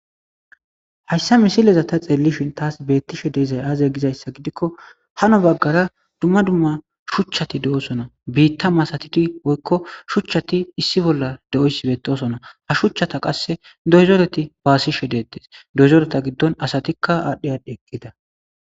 hayssa misileza ta xeellishin taas beettishe dizay aaze gizayssa gidikko hano baggara dumma dumma shuchchati de'osona biitta masatidi woykko shuchchati issi bolla de'oysi beetosona ha shuchchata qasse doyzoreti baasishe deettes doyzoreta giddon asatikka aadhdhi aadhdhe eqqida